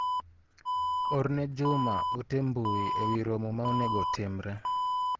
orne Juma ote mbui ewi romo ma onego otimre.